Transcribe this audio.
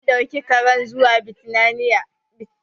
Mun ɗauki karen zuwa bitinariya.